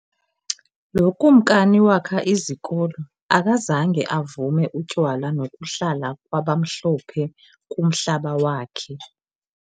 Lo Kumkani wakha izikolo, akazange avume utywala nokuhlala kwabamhlophe kumhlaba wakhe.